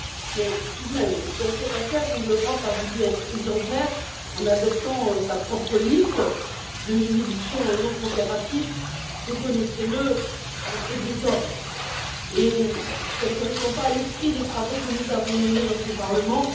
Mais tout de même, dans cette affaire où l'Europe a voulu être exemplaire en adoptant sa propre liste de territoires non coopératifs, reconnaissez le, cela fait désordre et ne correspond pas à l'esprit des travaux que nous avons menés dans ce Parlement.